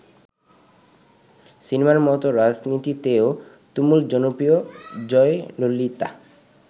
সিনেমার মত রাজনীতিতেও তুমুল জনপ্রিয় জয়ললিতা।